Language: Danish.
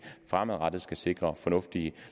fremadrettet skal sikre fornuftige